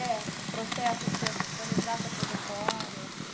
É, o processo seu, assim, de relembrar sua trajetória.